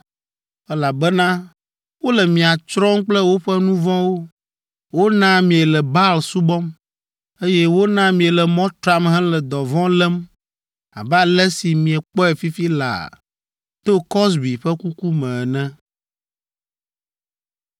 elabena wole mia tsrɔ̃m kple woƒe nu vɔ̃wo. Wona miele Baal subɔm, eye wona miele mɔ tram hele dɔvɔ̃ lém abe ale si miekpɔe fifi laa to Kozbi ƒe ku me ene.”